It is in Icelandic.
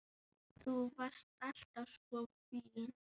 Þú varst alltaf svo fín.